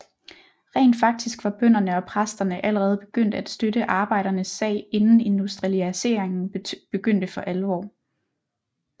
Rent faktisk var bønderne og præsterne allerede begyndt at støtte arbejdernes sag inden industrialiseringen begyndte for alvor